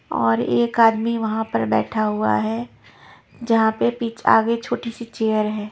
और एक आदमी वहाँ पर बैठा हुआ है जहाँ पे पिछ आगे छोटी सी चेयर है।